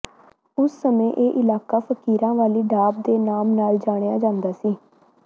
ਉਸ ਸਮੇ ਇਹ ਇਲਾਕਾ ਫਕੀਰਾਂ ਵਾਲੀ ਢਾਬ ਦੇ ਨਾਮ ਨਾਲ ਜਾਣਿਆ ਜਾਦਾ ਸੀ